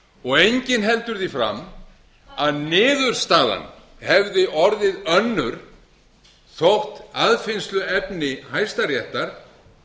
og enginn heldur því fram að niðurstaðan hefði orðið önnur þótt aðfinnsluefni hæstaréttar